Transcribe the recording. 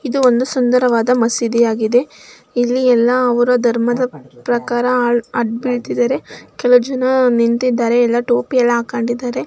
ಇದು ಒಂದು ಸುಂದರವಾದ ಮಸೀದಿ ಆಗಿದೆ. ಇಲ್ಲಿ ಎಲ್ಲಾ ಅವ್ರ ಧರ್ಮದ ಪ್ರಕಾರ ಅಡ್ಡು ಬೀಳ್ತಿದಾರೆ. ಕೆಲವು ಜನ ನಿಂತಿದ್ದಾರೆ. ಎಲ್ಲ ಟೋಪಿ ಎಲ್ಲ ಹಾಕಿದ್ದಾರೆ.